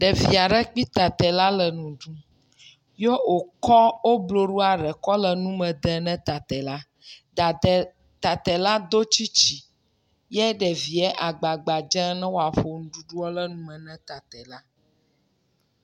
Ɖevi aɖe kpli tatɛ la le nuɖu yɛ okɔ wo bloɖoa ɖe kɔ le nume de na tatɛla. Tatɛla do tsitsi yɛ ɖevia agbagba dzem ne woaƒo nuɖuɖua ɖe nume na tatɛla.